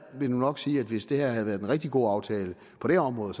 vil nu nok sige at hvis det her havde været en rigtig god aftale på det område